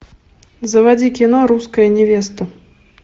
заводи кино русская невеста